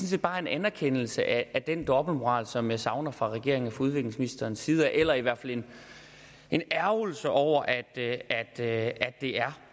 set bare en anerkendelse af den dobbeltmoral som jeg savner fra regeringen og udviklingsministerens side eller i hvert fald en ærgrelse over at at det er